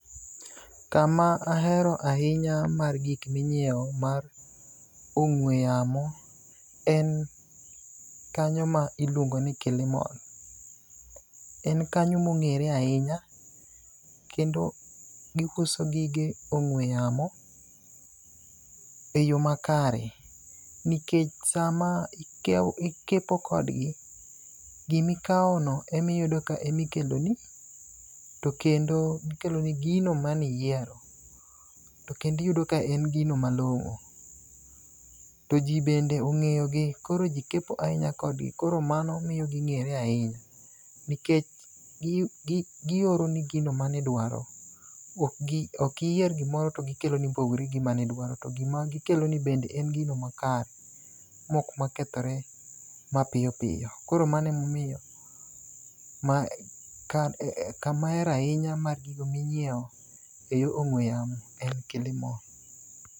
Kama ahero ahinya mar gik minyiewo mar ong'we yamo en kanyo ma iluongo ni Killimall. En kanyo mong'ere ahinya kendo giuso gige ong'we yamo e yo makare, nikech sama ikepo kodgi, gimikawono emiyudo ka ema ikeloni to kendo gikeloni gino maniyiero. To kendo iyudo ka en gino malong'o. To ji bende ong'eyogi, koro ji kepo ahinya kodgi, koro mano miyo ging'ere ahinya. Nikech gioroni gino manidwaro. Ok iyier gimoro to gikeloni mopogore gi gima nidwaro. To gima gikeloni bende en gino makare. Mok ma kethore mapiyo piyo. Koro mano emomiyo kama ahero ahinya mar gigo minyiewo e yor ong'we yamo en Killimall.